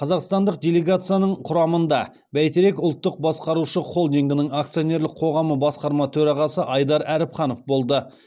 қазақстандық делегацияның құрамында бәйтерек ұлттық басқарушы холдингінің акционерлік қоғамы басқарма төрағасы айдар әріпханов болды